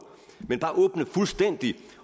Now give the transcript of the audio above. men bare åbne fuldstændigt